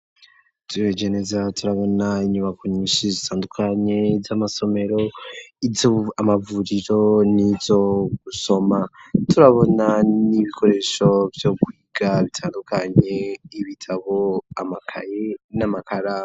turavye neza turabona inyubako nyinshi zitandukanye z'amasomero amavuriro n'izo gusoma turabona n'ibikoresho byo kwiga bitandukanye ibitabo amakayi n'amakaramu.